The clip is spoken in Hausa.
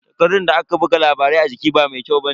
Takardan da aka buga labaran a jiki ba mai kyau bane.